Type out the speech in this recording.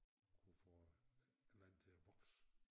Kunne få et eller andet til at vokse